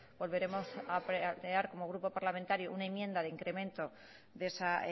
volveremos a plantear como grupo parlamentario una enmienda de incremento de esa